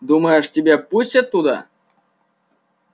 думаешь тебя пустят туда